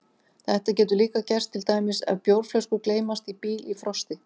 Þetta getur líka gerst til dæmis ef bjórflöskur gleymast í bíl í frosti.